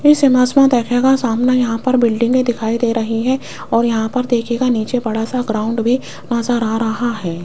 इस इमेज में देखिएगा सामने यहां पर बिल्डिंग दिखाई दे रही है और यहां पर देखियेगा नीचे बड़ा सा ग्राउंड भी नजर आ रहा है।